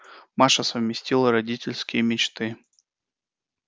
маша совместила родительские мечты